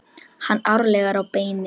Taka hann ærlega á beinið.